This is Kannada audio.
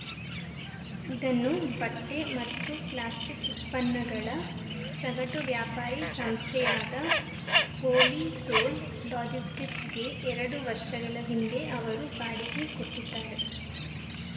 ಇದನ್ನು ಬಟ್ಟೆಮತ್ತು ಪ್ಲಾಸ್ಟಿಕ್‌ ಉತ್ಪನ್ನಗಳ ಸಗಟು ವ್ಯಾಪಾರಿ ಸಂಸ್ಥೆಯಾದ ಹೋಲಿ ಸೋಲ್‌ ಲಾಜಿಸ್ಟಿಕ್ಸ್‌ಗೆ ಎರಡು ವರ್ಷಗಳ ಹಿಂದೆ ಅವರು ಬಾಡಿಗೆ ಕೊಟ್ಟಿದ್ದಾರೆ